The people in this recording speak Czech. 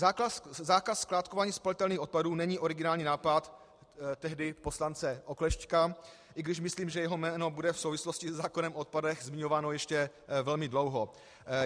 Zákaz skládkování spalitelných odpadů není originální nápad tehdy poslance Oklešťka, i když myslím, že jeho jméno bude v souvislosti se zákonem o odpadech zmiňováno ještě velmi dlouho.